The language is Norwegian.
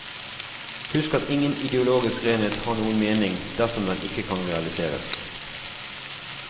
Husk at ingen ideologisk renhet har noen mening dersom den ikke kan realiseres.